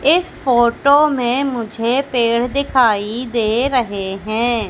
इस फोटो में मुझे पेड़ दिखाई दे रहे हैं।